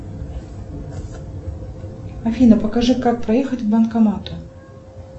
афина покажи как проехать к банкомату